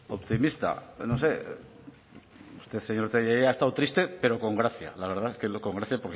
optimista no sé usted señor tellería ha estado triste pero con gracia la verdad que con gracias porque